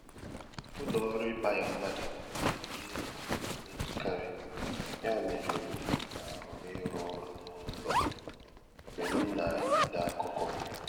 Ụlọ oru ikpaya mmadụ bụ ìhè na emekari ya mere, m na-ahọrọ ịrụ ọrụ n'ụlọ mgbe m na-ede akụkọ.